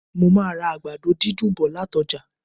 Mo màá ra àgbàdo dídùn bọ̀ lati ọ́jà